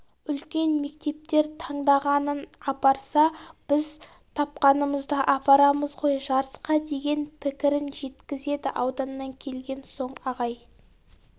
үлкен мектептер таңдағанын апарса біз тапқанымызды апарамыз ғой жарысқа деген пікірін жеткізеді ауданнан келген соң ағай